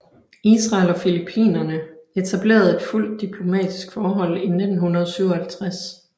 Israel og Filippinerne etablerede et fuldt diplomatisk forhold i 1957